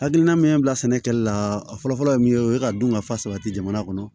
Hakilina min ye bila sɛnɛ kɛli la a fɔlɔ fɔlɔ ye min ye o ye ka dun ka fa sabati jamana kɔnɔ